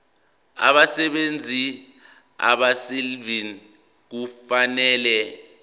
abasebenzi abaselivini kufanele